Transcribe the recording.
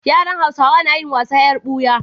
Yaran hausawa nayin wasan yar buya